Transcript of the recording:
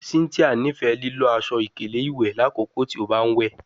Cynthia nifẹ lilo aṣọ-ikele iwẹ lakoko ti o ba n we